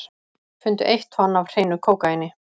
Fundu eitt tonn af hreinu kókaíni